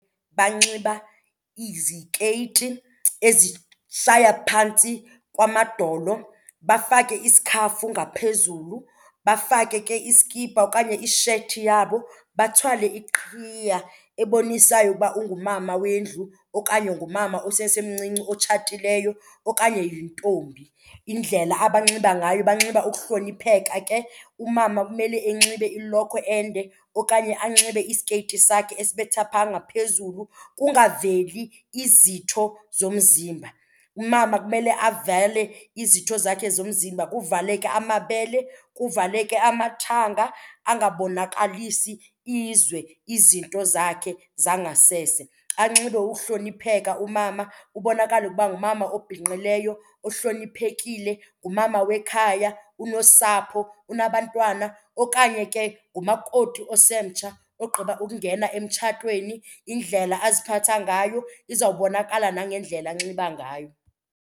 Banxiba izikeyiti ezishaya phantsi kwamadolo, bafake isikhafu ngaphezulu, bafake ke iskipa okanye ishethi yabo, bathwale iqhiya ebonisayo ukuba ungumama wendlu okanye ngumama osesemncinci otshatileyo okanye yintombi. Indlela abanxiba ngayo banxiba ukuhlonipheka ke, umama kumele enxibe ilokhwe ende okanye anxibe isikeyiti sakhe esibetha phaa ngaphezulu kungaveli izitho zomzimba. Umama kumele avale izinto zakhe zomzimba kuvaleke amabele, kuvaleke amathanga angabonakalisi izwe izinto zakhe zangasese. Anxibe ukuhlonipheka umama kubonakale ukuba ngumama obhinqileyo ohloniphekile, ngumama wekhaya, unosapho, unabantwana. Okanye ke ngumakoti osemtsha ogqiba ukungena emtshatweni, indlela aziphatha ngayo izawubonakala nangendlela anxiba ngayo.